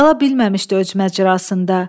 Qala bilməmişdi öz məcrasında.